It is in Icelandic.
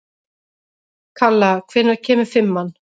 Kalla, hvenær kemur fimman?